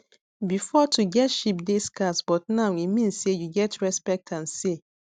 before to get sheep dey scarce but now e mean say you get respect and say